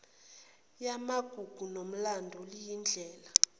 yamagugu nomlando liyindlela